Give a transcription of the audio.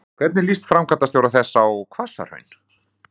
Hvernig líst framkvæmdastjóra þess á Hvassahraun?